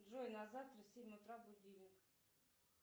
джой на завтра семь утра будильник